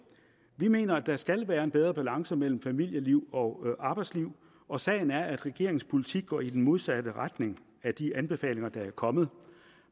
vi mener at der skal være en bedre balance mellem familieliv og arbejdsliv og sagen er at regeringens politik går i den modsatte retning af de anbefalinger der er kommet